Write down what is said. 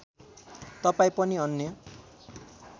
तपाईँ पनि अन्य